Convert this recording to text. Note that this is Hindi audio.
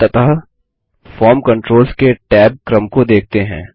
अंततः फॉर्म कंट्रोल्स के टैब क्रम को देखते हैं